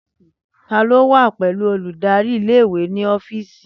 Tani o wa pẹlu oludari ìle-ìwe ni ọfíìsì?